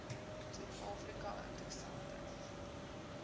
suid afrika interessante